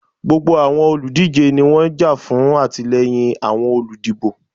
Gbogbo awọn oludije ni wọn n ja fun atilẹyin awọn oludibo.